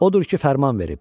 Odur ki, fərman verib: